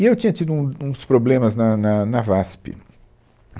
E eu tinha tido um, uns problemas na na na VASP.